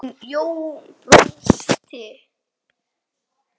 Jón brosti.